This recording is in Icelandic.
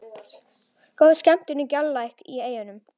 Góð skemmtun í Galtalæk og Eyjum